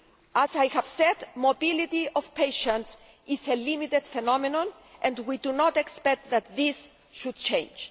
As I have said, mobility of patients is a limited phenomenon and we do not expect this to change.